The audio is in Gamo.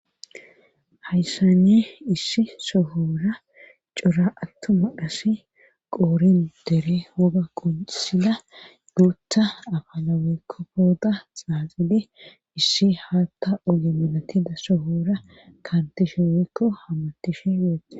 Hayssane issi sohora cora attuma asi qoorin dere woga qoncisida guutta afala weykko pooda xaaxide issi haatta oge malatida sohora kantishe weykko hamatishe weeto